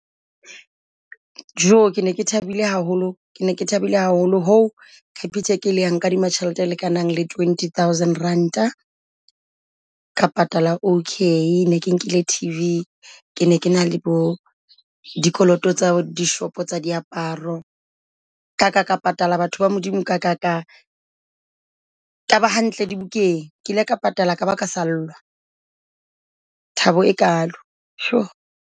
Jo ke ne ke thabile haholo, ke ne ke thabile haholo ho Capitec e le ya nkadima tjhelete e lekanang le twenty thousand ranta ka patala O_K. Ne ke nkile T V. Ke ne ke na le bo dikoloto tsa dishopo tsa diaparo ka ka ka patala batho ba Modimo, ka ka ka kaba hantle dibukeng. Ke ile ka patala ka ba ka sallwa. Thabo e kalo sho.